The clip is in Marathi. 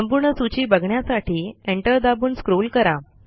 संपूर्ण सूची बघण्यासाठी एंटर दाबून स्क्रॉल करा